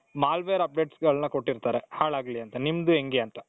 malware updatesಗಳನ್ನ ಕೊಟ್ಟಿರ್ತಾರೆ ಹಾಳಾಗ್ಲಿ ಅಂತ ನಿಮ್ದು ಹೆಂಗೆ ಅಂತ ?